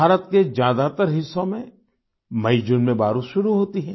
भारत के ज्यादातर हिस्सों में मईजून में बारिश शुरू होती है